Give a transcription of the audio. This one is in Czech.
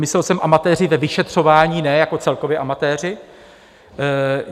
Myslel jsem amatéři ve vyšetřování, ne jako celkově amatéři.